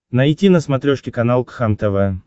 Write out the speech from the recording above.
найти на смотрешке канал кхлм тв